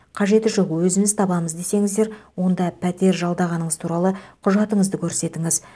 қажеті жоқ өзіміз табамыз десеңіздер онда пәтер жалдағаныңыз туралы құжатыңызды көрсетініз